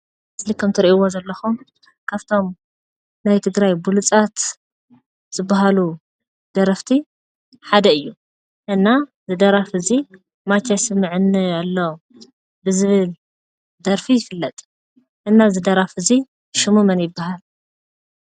እዙይ ከምትርእይዎ ከምዘለኩም ካብቶም ናይ ትግራይ ብልፃት ዝብሃሉ ደረፍቲ ሓደ እዩ። እና ዝደራፊ እዙይ ማቻ ይስምዓኒ ኣሎ ብዝብል ደርፊ ይፍለጥ። እና ዝደራፊ እዙይ ሹሙ መን ይብሃል?